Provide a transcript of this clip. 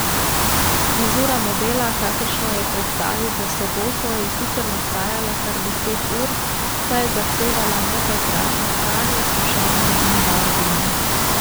Frizura modela, kakršno je predstavil v soboto, je sicer nastajala kar deset ur, saj je zahtevala nekajkratno pranje, sušenje in barvanje.